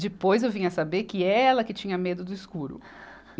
Depois eu vim a saber que é ela que tinha medo do escuro.